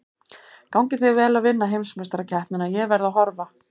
Gangi þér vel að vinna heimsmeistarakeppnina, ég verð að horfa.